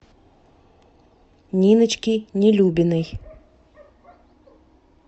ниночки нелюбиной